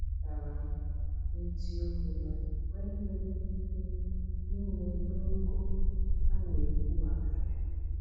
Ekwuputara m n’eziokwu na enweghị m ike inye n’ogo a n'ekwu maka ya.